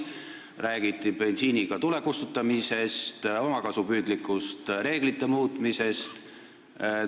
Räägiti bensiiniga tule kustutamisest, omakasupüüdlikust reeglite muutmisest.